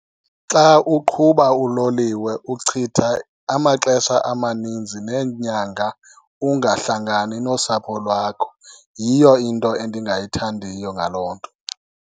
Xa uqhuba uloliwe uchitha amaxesha amaninzi neenyanga ungahlangani nosapho lwakho, yiyo into endingayithandiyo ngaloo nto.